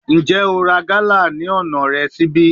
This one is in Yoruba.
Njẹ o ra gala ni ọna rẹ nibi?